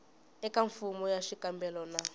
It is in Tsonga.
eka fomo ya xikombelo na